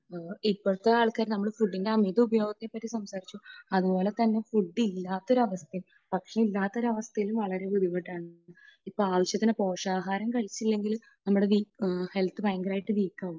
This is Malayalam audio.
ഇപ്പോഴത്തെ ആൾക്കാരെ, നമ്മുടെ ഫുഡിനെ അമിത ഉപയോഗത്തെ പറ്റി സംസാരിച്ചു. അതുപോലെ അതുപോലെതന്നെ ഫുഡ് ഇല്ലാത്ത ഒരു അവസ്ഥയും, ഫുഡ് ഇല്ലാത്ത ഒരു അവസ്ഥ വളരെ ബുദ്ധിമുട്ടാണ്. ഇപ്പോൾ ആവശ്യത്തിന് പോഷകാഹാരം കഴിച്ചില്ലെങ്കിൽ നമ്മുടെ ഹെൽത്ത് ഭയങ്കരമായിട്ട് വീക്കാവും.